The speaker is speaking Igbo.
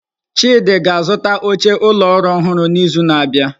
Chidi ga-azụta oche ụlọ ọrụ ọhụrụ n'izu na-abịa.